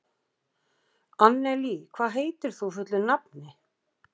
Annelí, hvað heitir þú fullu nafni?